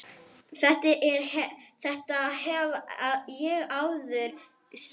Þetta hef ég áður sagt.